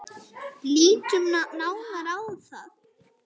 Lítum nánar á það.